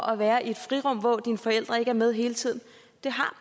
at være i et frirum hvor dine forældre ikke er med hele tiden